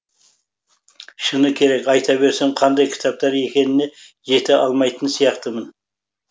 шыны керек айта берсем қандай кітаптар екеніне жете алмайтын сияқтымын